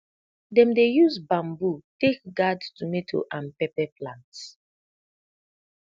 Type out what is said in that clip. dem dey use bamboo take gard tomato and pepper plants